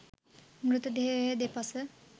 මෘත දේහය දෙපස